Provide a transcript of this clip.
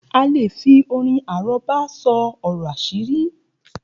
A leè fi orin àrọ́bá sọ ọ̀rọ̀ àṣírí